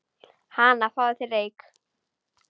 Hana, fáðu þér reyk